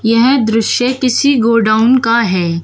यह दृश्य किसी गोडाउन का है।